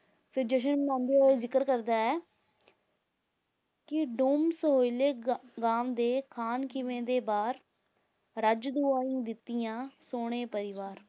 ਫਿਰ ਜਸ਼ਨ ਮਨਾਉਂਦੇ ਹੋਏ ਜ਼ਿਕਰ ਕਰਦਾ ਹੈ ਕਿ ਡੂਮ ਸੋਹਲੇ ਗਾ~ ਗਾਂਵਦੇ, ਖਾਨ ਖੀਵੇ ਦੇ ਬਾਰ, ਰੱਜ ਦੁਆਈਂ ਦਿੱਤੀਆਂ, ਸੋਹਣੇ ਪਰਿਵਾਰ